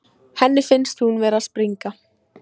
Henni finnst hún vera að springa.